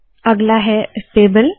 अगला है टेबल